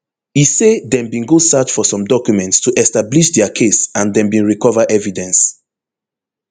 e say dem bin go search for some documents to establish dia case and dem bin recover evidence